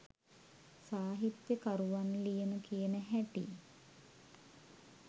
සාහිත්‍ය කරුවන් ලියන කියන හැටි